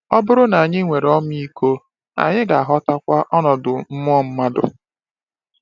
Ọ bụrụ na anyị nwere ọmịiko, anyị ga-aghọtakwa ọnọdụ mmụọ mmadụ.